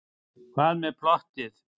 Hvað með plottið?